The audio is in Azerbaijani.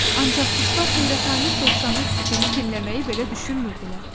Ancaq quşlar heyrətamiz dovşanın fikrini dinləməyi belə düşünmürdülər.